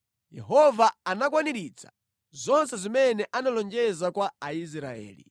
Yehova anakwaniritsa zonse zimene analonjeza kwa Aisraeli.